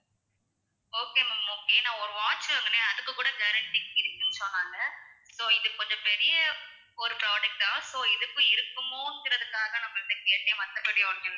okay ma'am okay நான் ஒரு watch வாங்கினேன் அதுக்கு கூட guarantee இருக்குன்னு சொன்னாங்க so இது கொஞ்சம் பெரிய ஒரு product ஆ so இதுக்கும் இருக்குமோங்குறதுக்காக தான் நான் உங்ககிட்ட கேட்டேன் மத்தபடி ஒண்ணும் இல்ல